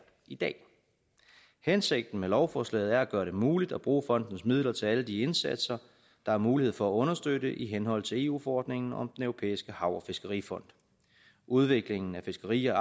i dag hensigten med lovforslaget er at gøre det muligt at bruge fondens midler til alle de indsatser der er mulighed for at understøtte i henhold til eu forordningen om den europæiske hav og fiskerifond udviklingen af fiskeri og